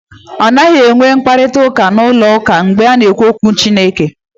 A naghị enwe mkparịta ụka n'ụlọ ụka mgbe a na-ekwu okwu Chineke.